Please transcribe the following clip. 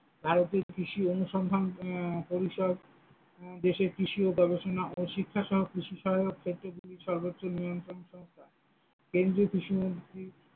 ভারতে কৃষি অনুসন্ধান পরিসর দেশে কৃষি ও গবেষণা ও শিক্ষা সহায়ক ও কৃষি সহায়ক ক্ষেত্রগুলির সর্বোচ্চ নিয়ন্ত্রণ সংস্থা, কেন্দ্রীয় কৃষি মন্ত্রী।